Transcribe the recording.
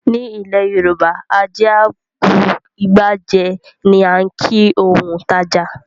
Ní ilẹ̀ Yorùbá "ajé a bu igbá jẹ" ni á ń kìí òun tàjà.